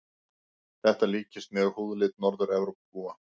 Þetta líkist mjög húðlit Norður-Evrópubúa.